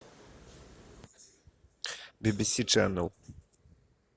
би би си ченел